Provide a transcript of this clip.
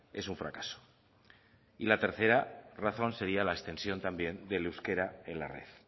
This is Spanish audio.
es un fracaso y la tercera razón sería la extensión también del euskera en la red